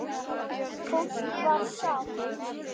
Fólk var sátt.